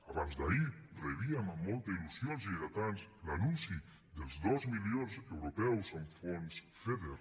abans d’ahir rebíem amb molta il·lusió els lleidatans l’anunci dels dos milions europeus en fons feder